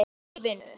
Þau í vinnu.